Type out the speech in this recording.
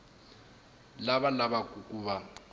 lava va lavaku ku va